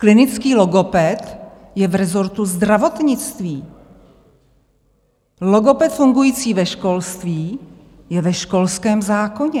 Klinický logoped je v rezortu zdravotnictví, logoped fungující ve školství je ve školském zákoně.